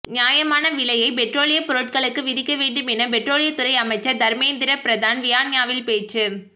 நியாயமான விலையை பெட்ரோலிய பொருட்களுக்கு விதிக்க வேண்டும் என பெட்ரோலியத்துறை அமைச்சர் தர்மேந்திர பிரதான் வியன்னாவில் பேச்சு